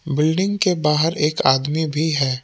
Building के बाहर एक आदमी भी है।